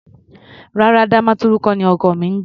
Rárá, Damaturu kọ́ ni ọkọ mi ń gbé.